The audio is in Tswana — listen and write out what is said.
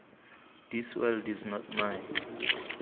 this world is not my